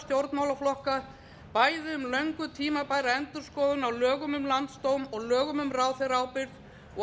stjórnmálaflokka bæði um löngu tímabæra endurskoðun á lögum um landsdóm og lögum um ráðherraábyrgð og